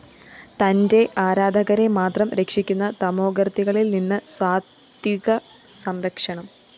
തന്റെ ആരാധകരെ മാത്രം രക്ഷിക്കുന്ന തമോഗര്‍ത്തികളില്‍നിന്ന് സാത്വികസംരക്ഷണം